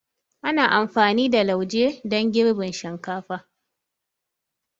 Ana amfani da lauje don girbin shinkafa.